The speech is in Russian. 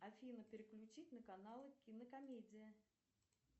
афина переключить на канал кинокомедия